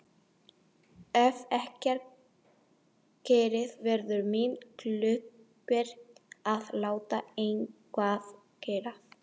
Ef ekkert gerist verður mitt hlutverk að láta eitthvað gerast.